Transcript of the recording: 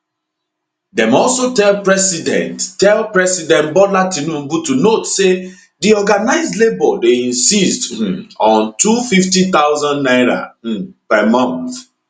dem also tell president tell president bola tinubu to note say di organised labour dey insist um on 250000 naira um per month